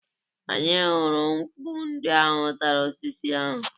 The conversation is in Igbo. Anyị hụrụ mkpu ndị ahụ tara osisi ahụ.